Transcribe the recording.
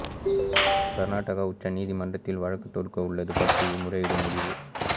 கர்நாடகா உச்ச நீதிமன்றத்தில் வழக்கு தொடுக்க உள்ளது பற்றியும் முறையிட முடிவு